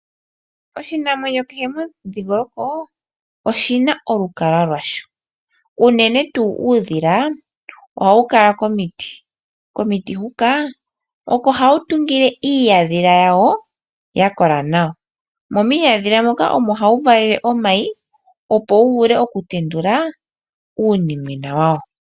Oshinamwenyo kehe momudhingoloko oshi na olukalwa lwasho unene tuu uudhila ohawu kala komiti ,komiti huka oko hawu tungile iihandhila yakola nawa. Mo miihandhila moka omo hawu valele omayi opo wu wape okutendula uunimwena wawo